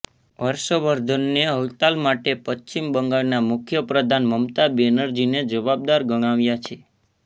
હર્ષવર્ધને હડતાળ માટે પશ્ચિમ બંગાળના મુખ્યપ્રધાન મમતા બેનર્જીને જવાબદાર ગણાવ્યા છે